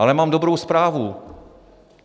Ale mám dobrou zprávu.